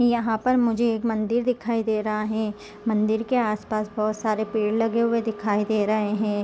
यहाँ पर मुझे एक मंदिर दिखाई दे रहा है मंदिर के आस-पास बहुत सारे पेड़ लगे हुए दिखाई दे रहे है।